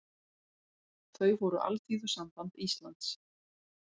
Þau voru Alþýðusamband Íslands